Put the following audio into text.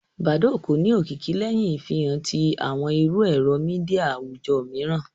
Badoo kò ní òkìkí léhìn ìfihàn ti àwọn ìrù èrò media àwùjọ míìràn